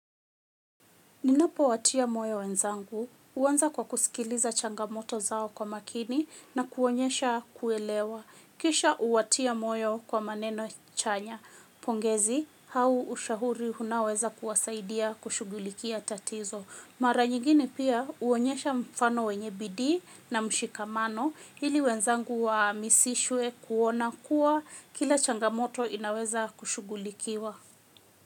Ninapo watia moyo wenzangu, uwanza kwa kusikiliza changamoto zao kwa makini na kuonyesha kuelewa. Kisha uwatia moyo kwa maneno chanya, pongezi, hau ushahuri unaoweza kuwasaidia kushugulikia tatizo. Maranyigine pia uonyesha mfano wenye bidii na mshikamano, ili wenzangu wa hamisishwe kuona kuwa kila changamoto inaweza kushugulikiwa.